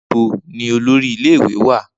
Nibo ni olori ile-iwe wa?